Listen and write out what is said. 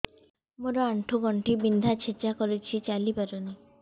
ମୋର ଆଣ୍ଠୁ ଗଣ୍ଠି ବିନ୍ଧା ଛେଚା କରୁଛି ଚାଲି ପାରୁନି